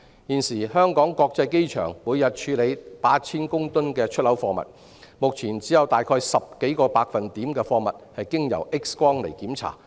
現時，香港國際機場每天處理 8,000 公噸出口貨物，但只有10多個百分點的貨物會經 X 光檢查。